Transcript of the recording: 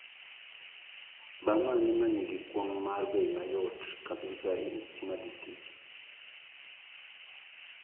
Baa mane manigi kwong' ma bei mayot kabisa kimathi street